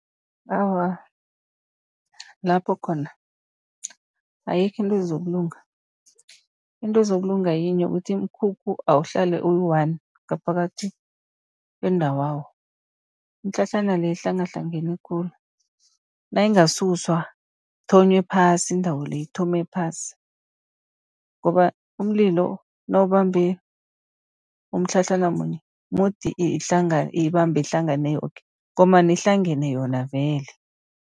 Awa, lapho khona ayikho into ezokulunga, into ezokulunga yinye ukuthi imikhukhu awuhlale uyi-one ngaphakathi kwendawawo. Imitlhatlhana le ihlangahlangane khulu, nayingasuswa kuthonywe phasi indawo le ithome phasi. Ngoba umlilo nawubambe umtlhatlhana munye, mudi ibambe ihlangane yoke, ngombana ihlangene yona vele.